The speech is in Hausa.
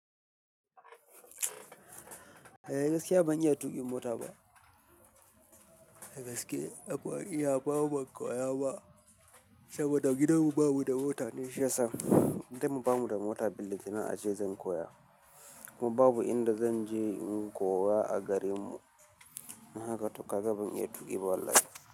Eh gaskiya ban iya tuƙin mota ba. A gaske akwai iya, babu koya ba. Saboda gidanmu babu da mota ne shiyasa. Gidan mu bamu da mota ballanta na a ce zan koya. Kuma babu inda zan je in koya a gare mu. Don haka to kaga ban iya tuƙi ba wallahi.